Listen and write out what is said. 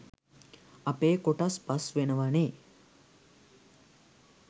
අපේ කොටස් පස් වෙනවනේ